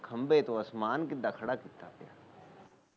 ਬਿਨਾ ਖੰਭੇ ਤੋ ਆਸਮਾਨ ਕਿਦਾ ਖੜਾ ਕਿਤਾ